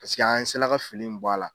Paseke an sela ka fili min bɔ a la